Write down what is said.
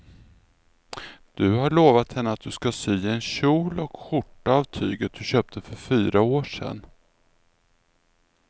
Du har lovat henne att du ska sy en kjol och skjorta av tyget du köpte för fyra år sedan.